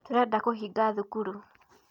Tũrenda kũhinga thukuru